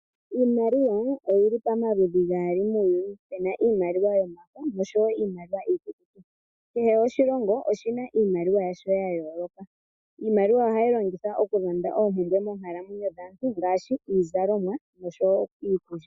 Iimaliwa oyili pomaludhi gaali muuyuni pena iimaliwa yomafo oshowo Iimaliwa iikukutu. Kehe oshilongo oshina iimaliwa yasho ya yooloka. Iimaliwa ohayi longithwa oku lanada oompumbwe moonkalamwenyo dhaantu ngaashi iizalomwa oshowo iikulya.